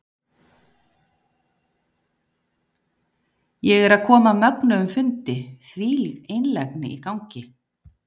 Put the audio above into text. Ég er að koma af mögnuðum fundi, þvílík einlægni í gangi.